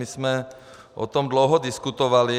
My jsme o tom dlouho diskutovali.